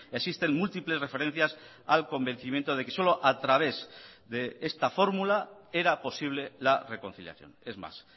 existen múltiples referencias al convencimiento de que solo a través de esta fórmula era posible la reconciliación es más